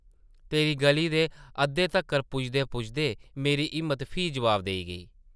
तेरी गʼली दे अद्धै तक्कर पुजदे-पुजदे मेरी हिम्मत फ्ही जवाब देई गेई ।